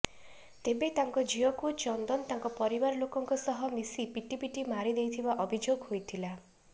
ତେବେ ତାଙ୍କ ଝିଅକୁ ଚନ୍ଦନ ତାଙ୍କ ପରିବାର ଲୋକଙ୍କ ସହ ମିଶି ପିଟିପିଟି ମାରି ଦେଇଥିବା ଅଭିଯୋଗ ହୋଇଥିଲା